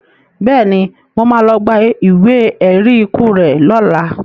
Bẹ́ẹ̀ni, mo má lọ gba ìwé ẹ̀rí ikú rẹ lọla